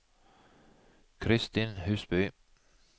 Kristin Husby